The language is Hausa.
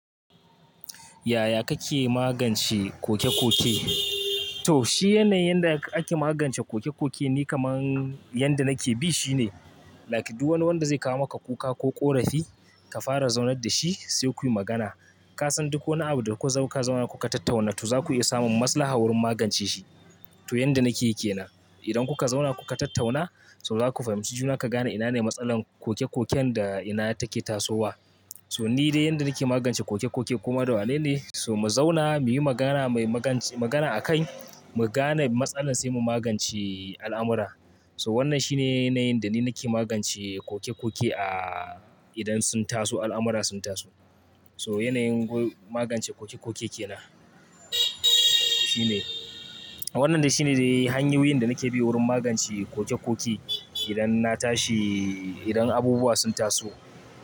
Yaya kake magance koke koke? To shi yanayin da ake magance kokekoke ne kamar yadda nake bi shine, like duk wani wanda zai kawo maka kuka ko ƙorafi ka fara zaunar da shi sai kuyi magana. Kasan duk wani abu da kuka zauna kuka tattauna to zaku iya samun maslaha wurin magance shi. To yanda nake yake ina. Idan kuka zauna kuka tattauna to zaku fahimci juna ku gane ina ne matsalar kokekoken da ina take tasowa. So ni dai yanda nake magance kokekoke kuma dole ne so mu zauna muyi magana mai magance- magana a kan mu gane matsalar sai mu magance al'amura. So wannan shine yanayin da ni nake magance kokekoke a idan sun taso, al'amura sun taso. So yanayin goge- magance kokekoke ke ina. Shine wannan dai shine dai hanyoyin da nake bi wurin magance kokekoke idan na tashi, idan abubuwa sun taso.